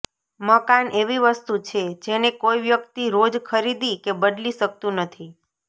મકાન એવી વસ્તુ છે જેને કોઈ વ્યક્તિ રોજ ખરીદી કે બદલી શક્તું નથી